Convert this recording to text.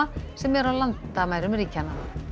sem er á landamærum ríkjanna